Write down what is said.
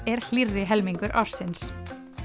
er hlýrri helmingur ársins